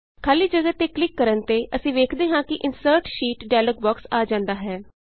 ਖਾਲੀ ਜਗ੍ਹਾ ਤੇ ਕਲਿਕ ਕਰਨ ਤੇ ਅਸੀਂ ਵੇਖਦੇ ਹਾਂ ਕਿ insert sheet insert sheet dialogue box ਆ ਜਾਂਦਾ ਹੈ